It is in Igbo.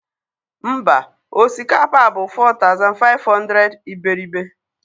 mba osikapa bụ 4500 iberibe